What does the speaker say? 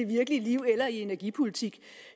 virkelige liv eller i energipolitik